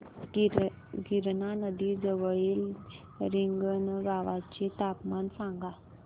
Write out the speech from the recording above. गिरणा नदी जवळील रिंगणगावाचे तापमान सांगा